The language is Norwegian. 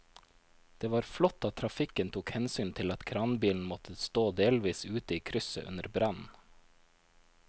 Det var flott at trafikken tok hensyn til at kranbilen måtte stå delvis ute i krysset under brannen.